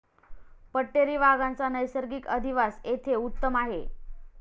पट्टेरी वाघांचा नैसर्गिक अधिवास येथे उत्तम आहे.